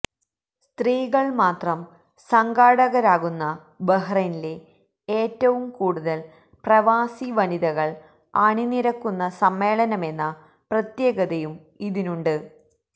സ്ത്രീകൾ മാത്രം സംഘാടകരാകുന്ന ബഹ്റൈനിലെ ഏറ്റും കൂടുതൽ പ്രവാസി വനിതകൾ അണിനിരക്കുന്ന സമ്മേളനമെന്ന പ്രത്യേകതയും ഇതിനുണ്ട്